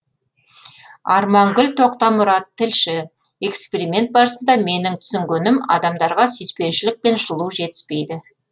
армангүл тоқтамұрат тілші эксперимент барысында менің түсінгенім адамдарға сүйіспеншілік пен жылу жетіспейді